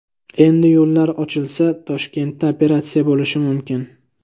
Endi yo‘llar ochilsa, Toshkentda operatsiya bo‘lishi mumkin.